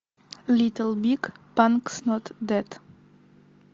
литл биг панкс нот дед